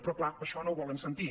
però clar això no ho volen sentir